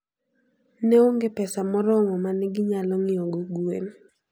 Ne onge pesa moromo ma ne ginyalo ng'iewogo gwen.